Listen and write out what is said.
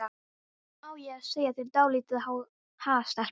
Á ég að segja þér dálítið, ha, stelpa?